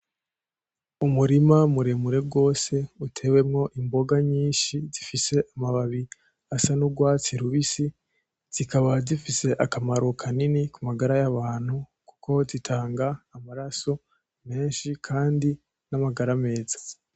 Umurima muremure rwose, utewemwo imboga nyinshi zifise amababi asa n'urwatsi rubisi, zikaba zifise akamaro kanini ku magara y'abantu, kuko zitanga amaraso menshi kandi n'amagara meza.